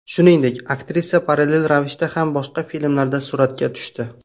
Shuningdek, aktrisa parallel ravishda ham boshqa filmlarda suratga tushdi.